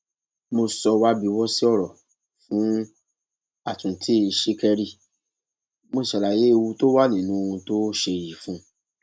mo sọ wábiwọsí ọrọ fún àtúntì ṣìkẹrì mo sì ṣàlàyé ewu tó wà nínú ohun tó ṣe yìí fún un